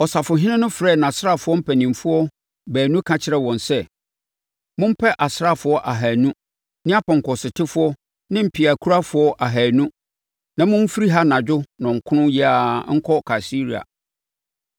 Ɔsafohene no frɛɛ nʼasraafoɔ mpanimfoɔ baanu ka kyerɛɛ wɔn sɛ, “Mompɛ asraafoɔ ahanu ne apɔnkɔsotefoɔ ne mpeakurafoɔ ahanu na momfiri ha anadwo nnɔnkron yi ara nkɔ Kaesarea.